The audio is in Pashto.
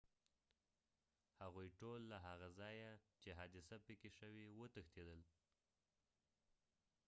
هغوی ټول له هغه ځایه چې حادثه پکې شوي وه وتښتیدل